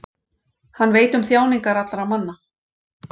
Hann veit um þjáningar allra manna.